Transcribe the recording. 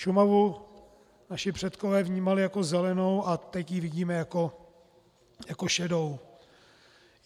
Šumavu naši předkové vnímali jako zelenou - a teď ji vidíme jako šedou.